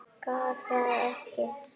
Gat það ekki.